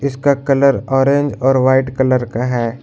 इसका colour orange और white colour का है।